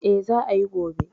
Eh, Za ayi gobe